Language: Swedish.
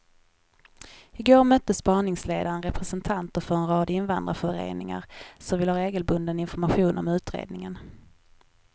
I går mötte spaningsledningen representanter för en rad invandrarföreningar som vill ha regelbunden information om utredningen.